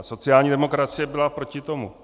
A sociální demokracie byla proti tomu.